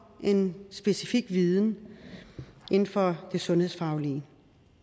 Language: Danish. en specifik viden inden for det sundhedsfaglige